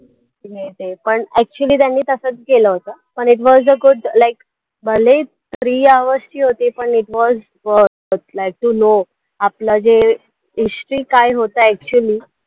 हे ते पण actually त्यांनी तसचं केलं होतं, पण it was the good like भले three hours ची होते, पण it was अं just like to know आपला जे history काय होतं actually